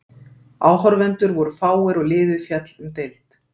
Áhorfendur voru fáir og liðið féll um deild.